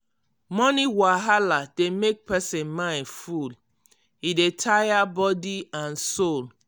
money wahala dey make person mind full e dey tire body and soul.